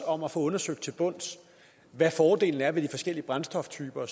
om at få undersøgt til bunds hvad fordelene ved de forskellige brændstoftyper